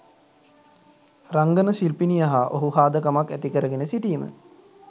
රංගන ශිල්පිනිය හා ඔහු හාදකමක් ඇතිකරගෙන සිටීම